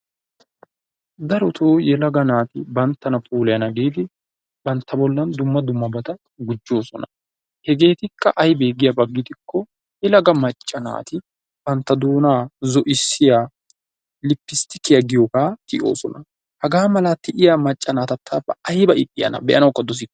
darotoo yelaga naati banttana puulayana giidi bantta bollan dumma dummabata gujjoosona. Hegeetikka aybee giyaaba gidikko yelaga macca naati bantta doonaa zo'ssiyaa lippisttikiyaa giyoogaa tiyoosona. Hagaa mala tiyaa macca naata ta ayba ixxiyaanaa be'anawukka dosikke.